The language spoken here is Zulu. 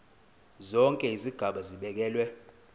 zonke izigaba zibekelwe